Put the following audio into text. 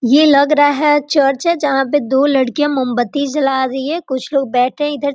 ये लग रहा है चर्च है जहाँ पे दो लड़कियाँ मोमबत्ती जला रही है कुछ लोग बैठे है इधर --